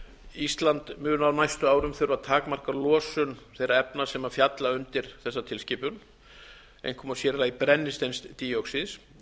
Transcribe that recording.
ísland mun á næstu árum þurfa að takmarka losun þeirra efna sem falla undir tilskipunina einkum og sér í lagi brennisteinsdíoxíðs eins og